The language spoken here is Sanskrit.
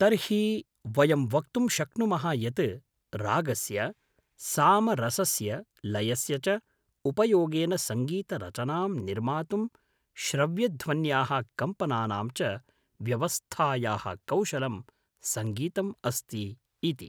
तर्हि वयं वक्तुं शक्नुमः यत् रागस्य, सामरसस्य, लयस्य, च उपयोगेन सङ्गीतरचनां निर्मातुं श्रव्यध्वन्याः कम्पनानां च व्यवस्थायाः कौशलं सङ्गीतम् अस्ति इति।